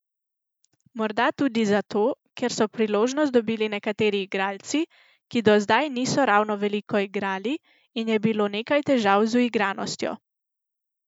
Morda tudi zato, ker so priložnost dobili nekateri igralci, ki do zdaj niso ravno veliko igrali in je bilo nekaj težav z uigranostjo.